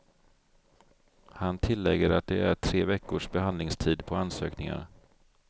Han tillägger att det är tre veckors behandlingstid på ansökningar.